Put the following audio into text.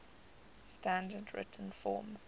standard written form